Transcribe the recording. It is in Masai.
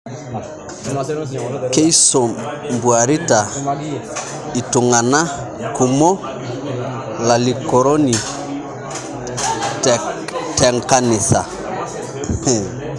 Keisombuarita ltungana kumo lalikoroni tenkanisa